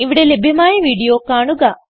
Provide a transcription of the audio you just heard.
ഇവിടെ ലഭ്യമായ വീഡിയോ കാണുക